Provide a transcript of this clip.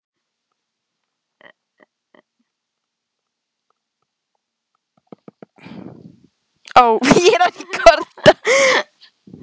tillögu til ályktunar um hækkun hlutafjár svo eitthvað sé nefnt.